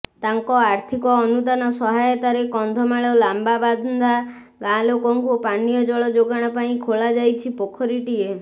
ତାଙ୍କ ଆର୍ଥିକ ଅନୁଦାନ ସହାୟତାରେ କନ୍ଧମାଳ ଲାମ୍ବାବାନ୍ଦା ଗାଁ ଲୋକଙ୍କୁ ପାନୀୟ ଜଳ ଯୋଗାଣ ପାଇଁ ଖୋଳାଯାଇଛି ପୋଖରୀଟିଏ